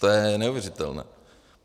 To je neuvěřitelné.